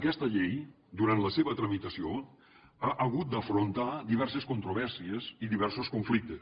aquesta llei durant la seva tramitació ha hagut d’afrontar diverses controvèrsies i diversos conflictes